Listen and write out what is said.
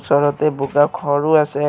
ওচৰতে বোকা খৰো আছে।